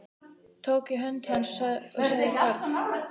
Tók í hönd hans og sagði Karl